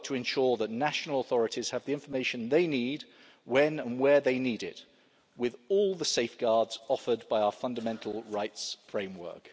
our work to ensure that national authorities have the information they need, when and where they need it, with all the safeguards offered by our fundamental rights framework.